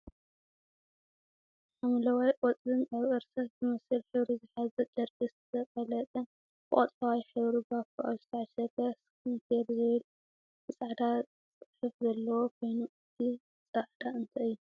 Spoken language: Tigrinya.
ሓምለዋይ ቆፅልን ኣብ እርሳስ ዝመስል ሕብሪ ዝሓዘ ጨርቂ ዝተቀለጠን ብቆፅላዋይ ሕብሪ ባኮ ኣብ ዝተዓሸገ ስክን ኬር ዝብል ብፃዕዳ ፅሐየፍ ዘለዎ ኮይኑ። እቱይ ፃዕዳ እንታይ እዩ?